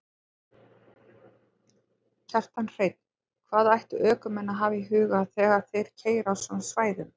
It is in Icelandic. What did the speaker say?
Kjartan Hreinn: Hvað ættu ökumenn að hafa í huga þegar þeir keyra á svona svæðum?